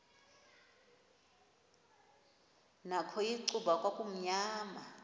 nakho icuba kwakumnyama